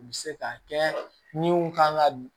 U bɛ se ka kɛ min kan ka